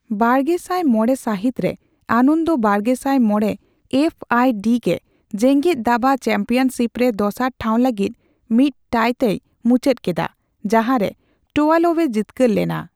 ᱵᱟᱨᱜᱮᱥᱟᱭ ᱢᱚᱲᱮ ᱥᱟᱦᱤᱛ ᱨᱮ, ᱟᱱᱚᱱᱫᱚ ᱵᱟᱨᱜᱮᱥᱟᱭ ᱢᱚᱲᱮ ᱮᱯᱷᱹᱟᱭᱹᱰᱤ ᱜᱮ ᱡᱮᱸᱜᱮᱛ ᱫᱟᱵᱟ ᱪᱮᱢᱯᱤᱭᱚᱱᱥᱤᱯ ᱨᱮ ᱫᱚᱥᱟᱨ ᱴᱷᱟᱣ ᱞᱟᱹᱜᱤᱫ ᱢᱤᱫ ᱴᱟᱭᱼᱛᱮᱭ ᱢᱩᱪᱟᱹᱫ ᱠᱮᱫᱟ, ᱡᱟᱸᱦᱟᱨᱮ ᱴᱳᱟᱞᱳᱵᱷ ᱮ ᱡᱤᱛᱠᱟᱹᱨ ᱞᱮᱱᱟ ᱾